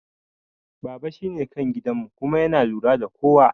Baba shine kan gidan mu kuma yana lura da kowa